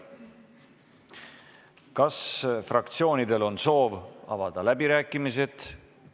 Kas fraktsioonidel on soov avada läbirääkimised?